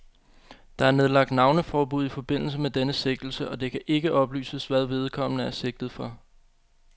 Der er nedlagt navneforbud i forbindelse med denne sigtelse, og det kan ikke oplyses, hvad vedkommende er sigtet for.